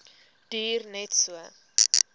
duur net so